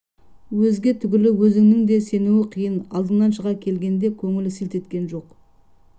өзге түгілі өзінің де сену қиын алдынан шыға келгенде көңілі селт еткен жоқ